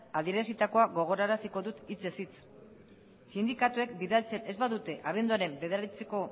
adierazitakoa gogoraraziko dut hitzez hitz sindikatuek bidaltzen ez badute abenduaren bederatziko